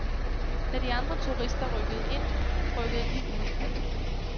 Da de andre turister rykkede ind, rykkede vi ud.